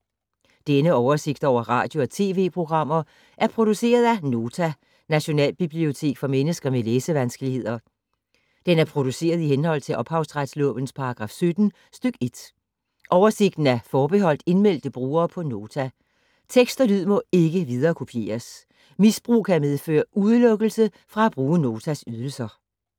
Denne oversigt over radio og TV-programmer er produceret af Nota, Nationalbibliotek for mennesker med læsevanskeligheder. Den er produceret i henhold til ophavsretslovens paragraf 17 stk. 1. Oversigten er forbeholdt indmeldte brugere på Nota. Tekst og lyd må ikke viderekopieres. Misbrug kan medføre udelukkelse fra at bruge Notas ydelser.